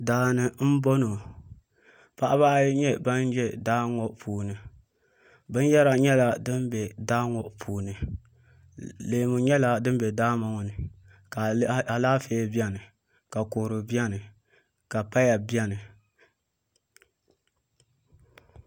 Daani n boŋo paɣaba ayi nyɛ bin ʒɛ daa ŋo puuni binwola nyɛ din bɛ daa ŋo puuni leemu nyɛla din bɛ daa ŋo ni ka a lihi Alaafee biɛni ka kodu biɛni ka paya biɛni